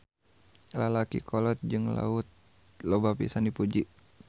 Lalaki kolot jeung Laut loba pisan dipuji.